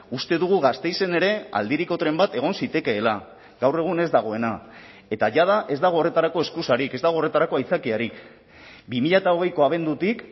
uste dugu gasteizen ere aldiriko tren bat egon zitekeela gaur egun ez dagoena eta jada ez dago horretarako eskusarik ez dago horretarako aitzakiarik bi mila hogeiko abendutik